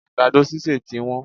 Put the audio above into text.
Àgbàdo sísè ti wón